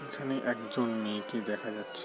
এই খানে একজন মেয়েকে দেখা যাচ্--